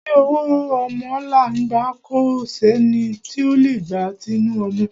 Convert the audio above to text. Ti ọwọ́ ọmọ là ń gbà, kò sẹ́ni tí o lè gba tinu ọmọ.